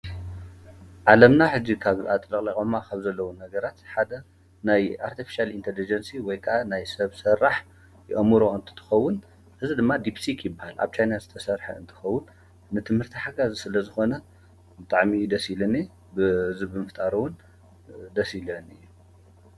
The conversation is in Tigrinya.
ዚዘ ስለ ዝኾነ ምጥዕሚ ደሲልኒ ብዝብ ምፍጣረውን ደሲለኒእየ።